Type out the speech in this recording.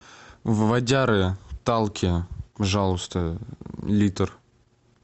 водяры талки пожалуйста литр